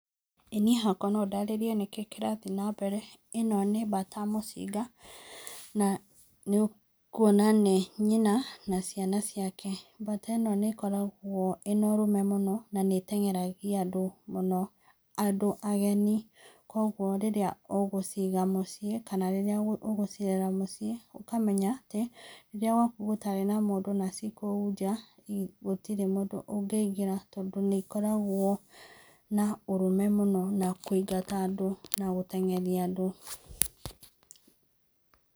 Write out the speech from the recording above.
Ĩ niĩ no ndarĩrie nĩkĩĩ kĩrathiĩ na mbere haa , ĩno nĩ mbata mũcinga na nĩ ũkũona nĩ nyina na ciana ciake mbata ino nĩ ĩkoragwo ĩna ũrũme mũno na nĩ ĩtengeragĩa andũ mũno andũ ageni kũogũo rĩrĩa ũgũciga mũciĩ kana rĩrĩa ũgũcĩrere mũciĩ ũkamenya atĩ rĩrĩa gwakũgũtarĩ na mũndũ na cikũu nja gũtirĩ mũndũ ũngĩingĩra na nĩikoragwo na ũrũme mũno na kũĩngata andũ na gũteng'eria andũ.